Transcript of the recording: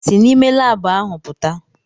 Si n'ime laabụ ahụ pụta!